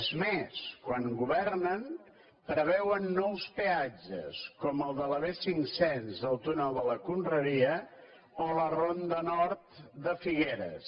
és més quan governen preveuen nous peatges com el de la b cinc cents al túnel de la conreria o a la ronda nord de figueres